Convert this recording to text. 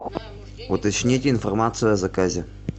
уточнить информацию о заказе